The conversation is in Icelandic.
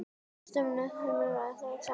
Setjið frosið spínat saman við.